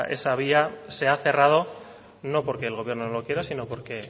esa vía se ha cerrado no porque el gobierno no quiera o